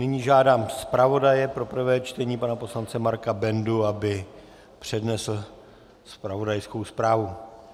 Nyní žádám zpravodaje pro prvé čtení pana poslance Marka Bendu, aby přednesl zpravodajskou zprávu.